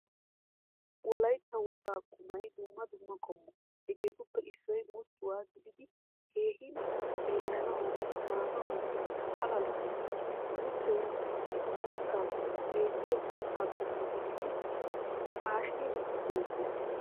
Wolaytta wogaa qumay dumma dumma qommo. Hegeettuppe issoy muchchuwaa gididi keehin xeellanawu maanawu paala lo"ees. Muchchoy uttappe beettiya kattaa qommn gididi haashin beetees.